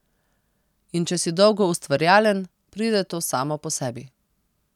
In če si dolgo ustvarjalen, pride to samo po sebi.